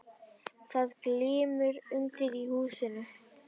Það glymur undir í húsinu.